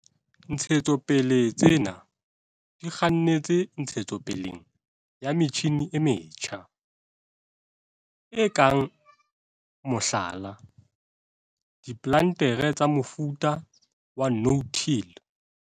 Ntshetsopele tsena di kgannetse ntshetsopeleng ya metjhine e metjha, e kang, mohlala, diplantere tsa mofuta wa no-till.